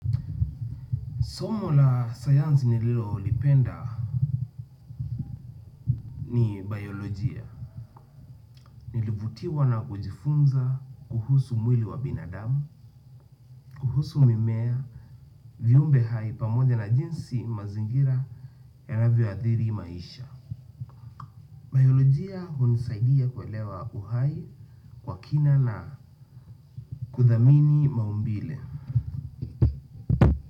Somo la sayanzi nililo lipenda ni biolojia, nilivutiwa na kujifunza kuhusu mwili wa binadamu, kuhusu mimea, viumbe hai pamoja na jinsi mazingira yanavyo athiri maisha. Biolojia hunisaidia kuelewa uhai kwa kina na kudhamini maumbile.